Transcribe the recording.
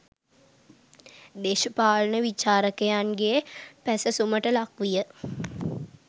දේශපාලන විචාරකයන්ගේ පැසැසුමට ලක් විය.